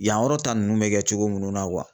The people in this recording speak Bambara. Yan yɔrɔ ta nunnu bɛ kɛ cogo munnu na